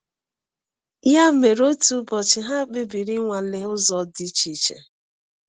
Ya mere, otu ụbọchị, ha kpebiri ịnwale ụzọ dị iche.